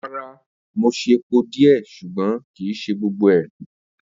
Rara, Mo ṣe pọ diẹ ṣugbọn kii ṣe gbogbo rẹ.